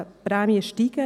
– ein Witz ist.